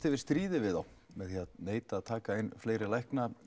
yfir stríði við þá með því að neita að taka inn fleiri lækna